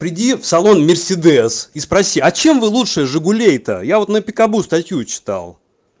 приди в салон мерседес и спроси а чем вы лучше жигулей то я вот на пикабу статью читал